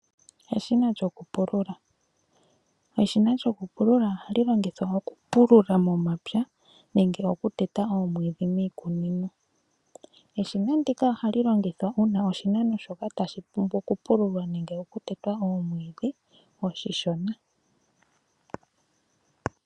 Eshina lyokupulula, eshina lyokupulula ohali longithwa okupulula momapya nenge oku teta omwiidhi miikunino Eshina ndika ohali longithwa uuna uuna oshimeno shoka tashi pumbwa okupululwa nenge oku teta omwiidhi oonshona.